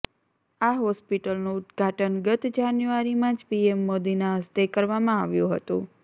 આ હોસ્પિટલનું ઉદ્ધાટન ગત જાન્યુઆરીમાં જ પીએમ મોદીનાં હસ્તે કરવામાં આવ્યું હતું